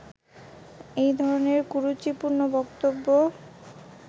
এই ধরণের কুরুচিপূর্ণ বক্তব্য